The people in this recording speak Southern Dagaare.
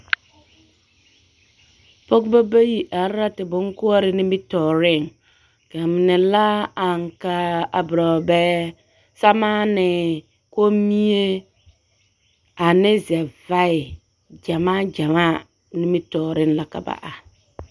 Pɔgebɔ bayi are la te boŋkoɔre nimitɔɔreŋ ka amine la aŋkaa, aborɔbɛ, samaanee, kommie ane zɛvae gyɛmaa gyɛmaa nimitɔɔreŋ la ka ba are.